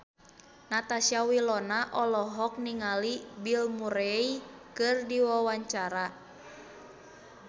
Natasha Wilona olohok ningali Bill Murray keur diwawancara